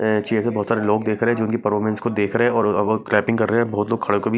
बहुत सारे लोग देख रहे हैं जो इनकी परफॉर्मेंस देख रहे हैं और वो क्लैपिंग कर रहे हैं बहुत लोग खड़े होकर भी--